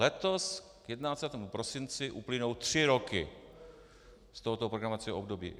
Letos k 31. prosinci uplynou tři roky z tohoto programovacího období.